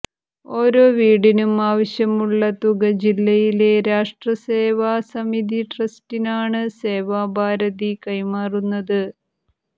ഓരോ വീടിനും ആവശ്യമുള്ള തുക ജില്ലയിലെ രാഷ്ട്രസേവാ സമിതി ട്രസ്റ്റിനാണ് സേവാഭാരതി കൈമാറുന്നത്